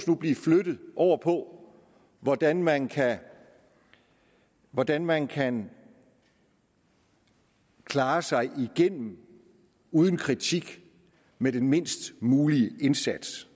nu blive flyttet over på hvordan man hvordan man kan klare sig igennem uden kritik med den mindst mulige indsats